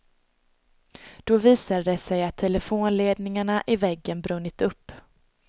Då visade det sig att telefonledningarna i väggen brunnit upp.